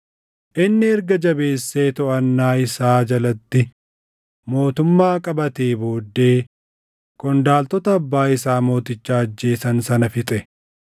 Inni erga jabeessee toʼannaa isaa jalatti mootummaa qabatee booddee qondaaltota abbaa isaa mooticha ajjeesan sana fixe.